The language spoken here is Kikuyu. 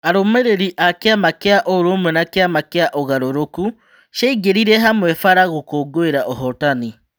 Arũmirĩri a Kĩama Kĩa ũrũmwe na Kĩama Kĩa ũgarũrũku ciaingĩrire hamwe bara gũkũngũira ũhotani.